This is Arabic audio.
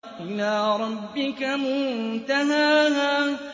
إِلَىٰ رَبِّكَ مُنتَهَاهَا